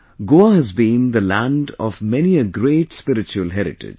Goa has been the land of many a great spiritual heritage